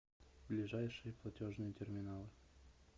ближайшие платежные терминалы